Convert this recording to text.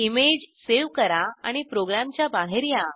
image save करा आणि प्रोग्रामच्या बाहेर या